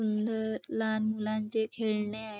सुंदर लहान मुलांचे खेळणे आहे.